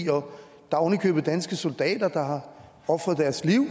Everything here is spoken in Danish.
der er ovenikøbet danske soldater der har ofret deres liv